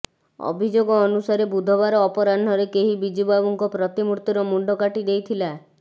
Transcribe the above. ଅଭିଯୋଗ ଅନୁସାରେ ବୁଧବାର ଅପରାହ୍ନରେ କେହି ବିଜୁ ବାବୁଙ୍କ ପ୍ରତିମୂର୍ତ୍ତିର ମୁଣ୍ଡ କାଟିଦେଇଥିଲା